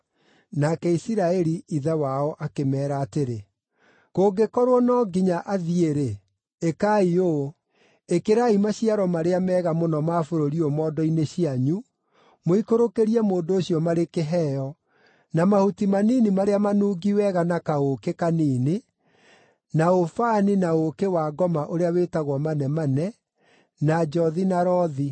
Nake Isiraeli, ithe wao akĩmeera atĩrĩ, “Kũngĩkorwo no nginya athiĩ-rĩ, ĩkai ũũ: Ĩkĩrai maciaro marĩa mega mũno ma bũrũri ũyũ mondo-inĩ cianyu, mũikũrũkĩrie mũndũ ũcio marĩ kĩheo, na mahuti manini marĩa manungi wega na kaũũkĩ kanini, na ũbani na ũũkĩ-wa-ngoma ũrĩa wĩtagwo manemane, na njothi na rothi.